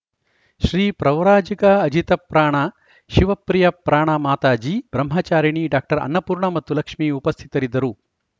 Shri Pravrajika Ajitaprana Shivapriyaprana Mataji Brahmacharini doctor Annapurna ಮತ್ತು ಲಕ್ಷ್ಮೀ ಉಪಸ್ಥಿತರಿದ್ದರು